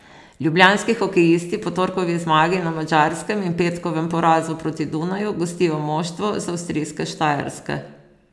Ljubljanski hokejisti po torkovi zmagi na Madžarskem in petkovem porazu proti Dunaju gostijo moštvo z avstrijske Štajerske.